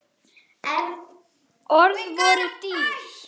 Orð voru dýr.